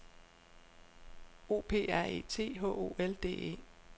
O P R E T H O L D E